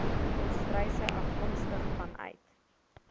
volstruise afkomstig vanuit